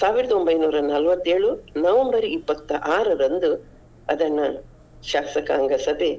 ಸಾವಿರದ ಒಂಬೈನೂರ ನಲ್ವತ್ತೇಳು November ಇಪ್ಪತ್ತಾರರಂದು ಅದನ್ನ ಶಾಸಕಾಂಗ ಸಭೆ.